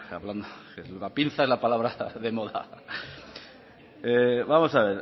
la pinza es la palabra de moda vamos a